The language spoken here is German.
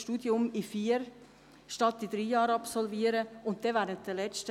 Soviel zur Frage der Qualität.